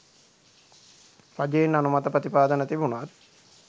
රජයෙන් අනුමත ප්‍රතිපාදන තිබුනත්